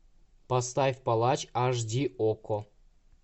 поставь палач аш ди окко